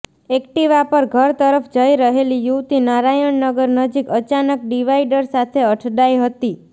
Activa પર ઘર તરફ જઈ રહેલી યુવતી નારાયણનગર નજીક અચાનક ડિવાઈડર સાથે અથડાઈ હતી